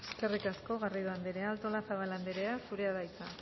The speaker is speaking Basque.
eskerrik asko garrido anderea artolazabal anderea zurea da hitza